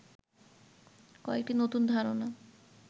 কয়েকটি নতুন ধারণা